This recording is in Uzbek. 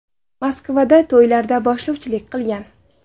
Moskvada to‘ylarda boshlovchilik qilgan.